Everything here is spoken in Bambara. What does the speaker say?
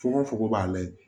Fogo fogo b'a la ye